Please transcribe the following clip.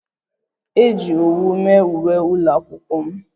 Eji owu mee uwe ụlọakwụkwọ m